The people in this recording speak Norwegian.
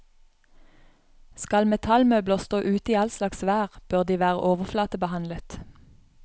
Skal metallmøbler stå ute i all slags vær, bør de være overflatebehandlet.